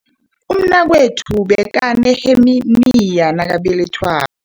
Umnakwethu bekaneheniya nakabelethwa